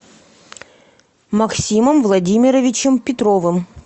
максимом владимировичем петровым